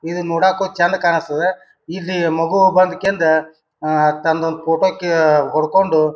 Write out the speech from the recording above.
ಈದ್ ನೋಡಕ್ಕೂ ಚಂದ ಕಾಣಸ್ತದ್ದ. ಇದ ಮಗು ಬಂದ್ ಕೇಂದ್ ಅಹ್ ತಂದ ಒಂದ್ ಫೋಟೋ ಕ ಹೊಡಕೊಂಡು--